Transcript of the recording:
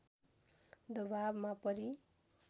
दवाबमा परी